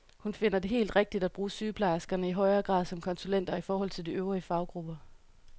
Hun finder det helt rigtigt at bruge sygeplejerskerne i højere grad som konsulenter i forhold til de øvrige faggrupper.